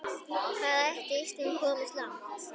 Hvað ætli Ísland komist langt?